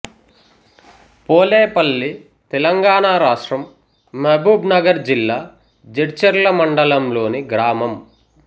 పోలేపల్లి తెలంగాణ రాష్ట్రం మహబూబ్ నగర్ జిల్లా జడ్చర్ల మండలంలోని గ్రామం